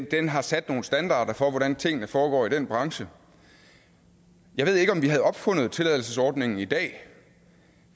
den har sat nogle standarder for hvordan tingene foregår i den branche jeg ved ikke om vi havde opfundet tilladelsesordningen i dag